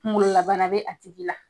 Kungololabana bɛ a tigi la,